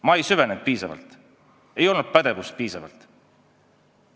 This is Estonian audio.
Ma ei süvenenud piisavalt, ei olnud piisavalt pädevust.